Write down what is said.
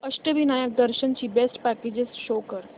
अष्टविनायक दर्शन ची best packages show कर